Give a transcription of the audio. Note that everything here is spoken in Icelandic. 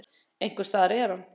Einhvers staðar er hann.